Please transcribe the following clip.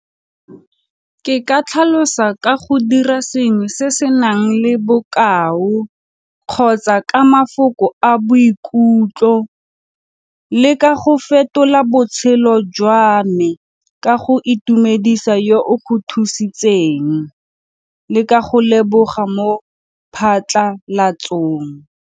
Ke ka tlhalosa ka go dira sengwe se se nang le bokao kgotsa ka mafoko a boikutlo le ka go fetola botshelo jwa me ka go itumedisa yo o go thusitseng le ka go leboga mo phatlalatsong.